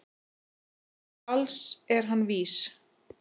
Til alls er hann vís